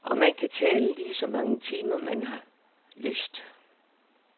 Og man kan tale ligeså mange timer, man har lyst.